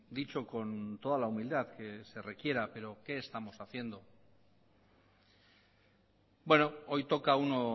dicho con toda la humildad que se requiera pero qué estamos haciendo hoy toca uno